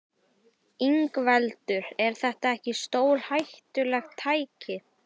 Ingveldur: Er þetta ekki stórhættulegt tæki?